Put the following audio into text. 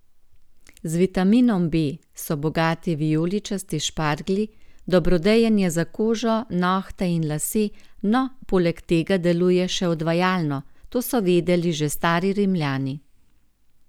Z vitaminom B so bogati vijoličasti šparglji, dobrodejen je za kožo, nohte in lase, no, poleg tega deluje še odvajalno, to so vedeli že stari Rimljani.